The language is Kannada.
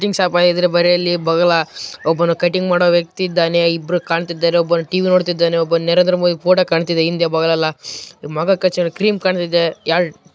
ಇದು ಕಟ್ಟಿಂಗ್‌ ಶಾಪ್‌ ಆಗಿದೆ ಮತ್ತೆ ಒಬ್ಬ ಪಕ್ಕದಲ್ಲಿ ಒಬ್ಬ ಕಟ್ಟಿಂಗ್‌ ಮಾಡುವ ವ್ಯಕ್ತಿ ಇದ್ದಾನೆ ಇಬ್ಬರು ಕಾಣುತ್ತಿದ್ದಾರೆ ಒಬ್ಬ ಟಿ_ವಿ ನೋಡುತ್ತಾ ಇದ್ದಾನೆ ಮತ್ತೆ ನರೆಂದ್ರ ಮೋದಿ ಪೋಟೋ ಕಾಣ್ತಾ ಇದೆ ಹಿಂದೆ ಕ್ರಿಂ ಕಾಣ್ತಾ ಇದೆ.